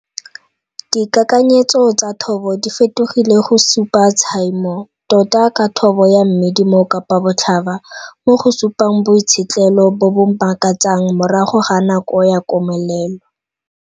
Dikakanyetso tsa thobo di fetogile go supa tshaimo, tota ka thobo ya mmidi mo Kapabotlhaba, mo go supang boitshetlelo bo bo makatsang morago ga nako ya komelelo.